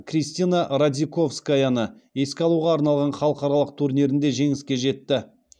кристина радзиковскаяны еске алуға арналған халықаралық турнирінде жеңіске жетті